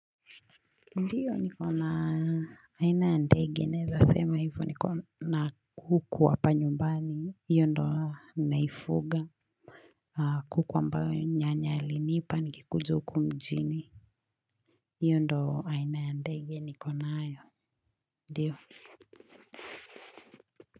Ndiyo niko na aina ya ndege. Naeza sema hivyo niko na kuku hapa nyumbani. Hiyo ndo naifuga kuku ambaye nyanya alinipa nikikuja huku mjini. Hiyo ndo aina ya ndege niko nayo. Ndiyo?